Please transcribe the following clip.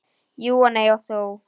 Jú og nei og þó.